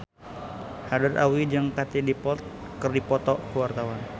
Haddad Alwi jeung Katie Dippold keur dipoto ku wartawan